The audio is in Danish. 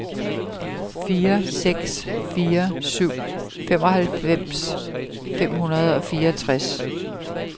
fire seks fire syv femoghalvfems fem hundrede og fireogtres